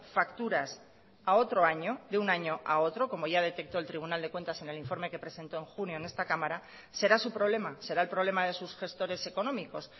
facturas a otro año de un año a otro como ya detectó el tribunal de cuentas en el informe que presentó en junio en esta cámara será su problema será el problema de sus gestores económicos